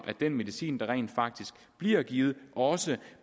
at den medicin der rent faktisk bliver givet også